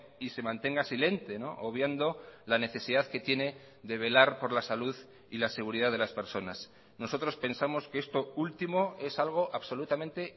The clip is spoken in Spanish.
y se mantenga silente obviando la necesidad que tiene de velar por la salud y la seguridad de las personas nosotros pensamos que esto último es algo absolutamente